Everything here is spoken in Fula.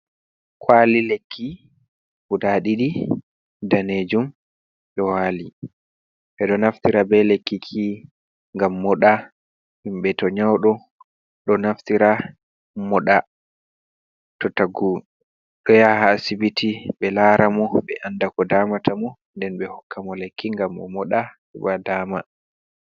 Kwali lekki guda ɗidi danejum ɗo wali. Ɓeɗo naftira be lekki ki ngam moɗa, himɓe to nyawɗo ɗo naftira moɗa. To tagu ɗo yaha asibiti ɓe lara mo ɓe anda ko damata mo, nden ɓe hokka mo lekki ngam o moɗa heɓa dama.